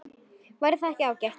Væri það ekki ágætt?